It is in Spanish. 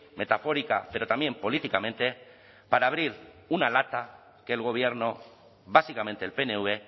metafórica pero también políticamente para abrir una lata que el gobierno básicamente el pnv